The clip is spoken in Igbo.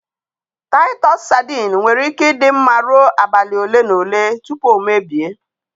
Taịtọs sadin nwere ike ị dị mma rụọ abalị ole na ole tupu o mebie